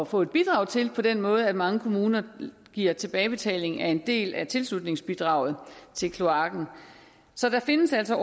få et bidrag til på den måde at mange kommuner giver tilbagebetaling af en del af tilslutningsbidraget til kloakken så der findes altså